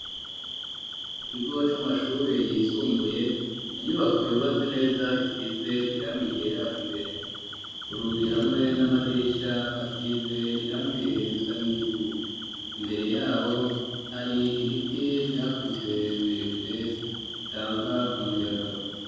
Mu kigo c'amashuri yisumbuye inyubako yubatse neza isize irangi ryera imbere kurugi hamwe n'amadirisha hasize irangi risa n'ivu imbere yaho hari ibiti vyakuze birebire bitanga umuyaga.